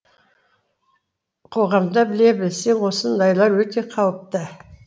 қоғамда біле білсең осындайлар өте қауіпті